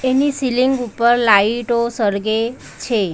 એની ceiling ઉપર લાઈટો સળગે છે.